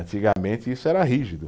Antigamente isso era rígido.